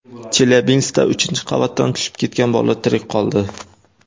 Chelyabinskda uchinchi qavatdan tushib ketgan bola tirik qoldi.